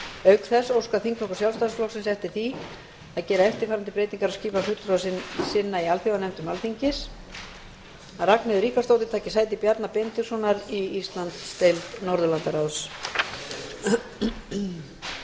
auk þess óskar þingflokkur sjálfstæðisflokksins eftir því að gera eftirfarandi breytingu á skipun fulltrúa sinna í alþjóðanefndum alþingis að ragnheiður ríkharðsdóttir